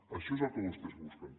això és el que vostès busquen